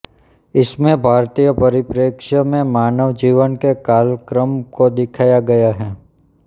इसमें भारतीय प्ररिप्रेक्ष्य में मानव जीवन के कालक्रम को दिखाया गया है